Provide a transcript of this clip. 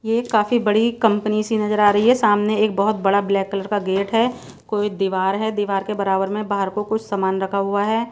ये काफी बड़ी कंपनी सी नजर आ रही है सामने एक बहुत बड़ा ब्लैक कलर का गेट है कोई दीवार है दीवार के बराबर में बाहर को कुछ सामान रखा हुआ है।